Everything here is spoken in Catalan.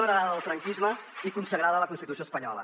heretada del franquisme i consagrada a la constitució espanyola